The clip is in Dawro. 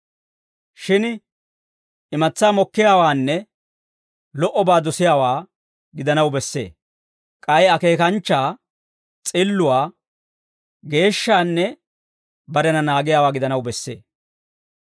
Shin imatsaa mokkiyaawaanne lo"obaa dosiyaawaa gidanaw bessee; k'ay akeekanchchaa, s'illuwaa, geeshshaanne barena naagiyaawaa gidanaw bessee.